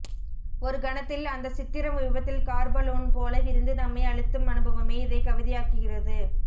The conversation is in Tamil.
ஒரு கணத்தில் அந்த சித்திரம் விபத்தில் கார்பலூன் போல விரிந்து நம்மை அழுத்தும் அனுபவமே இதை கவிதையாக்குகிறது